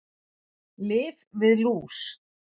Lyf við lús